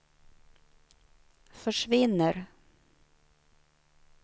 försvinner